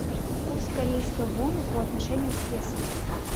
курс корейской воны по отношению к песо